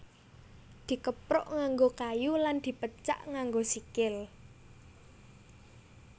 Dikepruk nganggo kayu lan dipecak nganggo sikil